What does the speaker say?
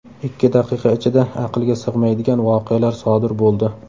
Ikki daqiqa ichida aqlga sig‘maydigan voqealar sodir bo‘ldi.